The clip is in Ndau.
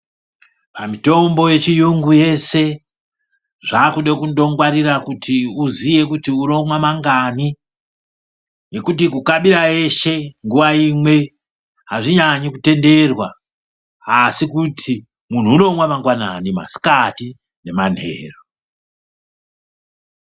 Pamitombo yechiyungu yeshe zvakude kungwarira kuti uziwe kuti unomwa mangani ngekuti kukabira eshe nguva imwe hazvinyanyi kutenderwa asi kuti unomwa mangwanani masikati nemanheru.